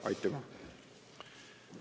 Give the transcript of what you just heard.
Aitüma!